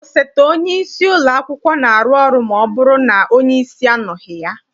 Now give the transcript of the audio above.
Osote onyeisi ụlọakwụkwọ na-arụ ọrụ ma ọbụrụ na onyeisi anọghị ya.